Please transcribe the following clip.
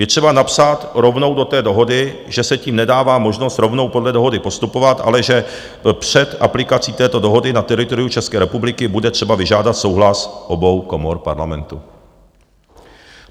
Je třeba napsat rovnou do té dohody, že se tím nedává možnost rovnou podle dohody postupovat, ale že před aplikací této dohody na teritoriu České republiky bude třeba vyžádat souhlas obou komor Parlamentu.